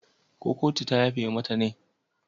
Kotun ta yafe mata ne?